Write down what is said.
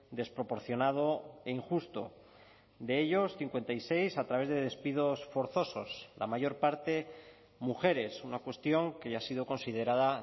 desproporcionado e injusto de ellos cincuenta y seis a través de despidos forzosos la mayor parte mujeres una cuestión que ya ha sido considerada